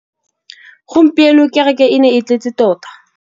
Gompieno kêrêkê e ne e tletse tota.